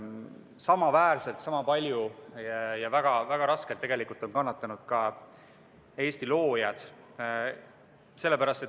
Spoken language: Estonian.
Samaväärselt, sama palju ja väga raskelt on tegelikult kannatanud ka Eesti loojad.